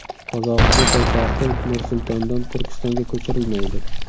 Qozog‘iston poytaxti Nur-Sultondan Turkistonga ko‘chirilmaydi.